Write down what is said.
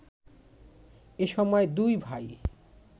এসময় দুই ভাই